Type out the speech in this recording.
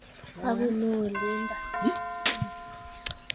Abunu olindo